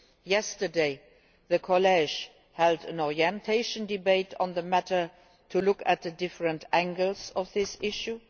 Yesterday the College held an orientation debate on the matter to look at the different angles of this issue.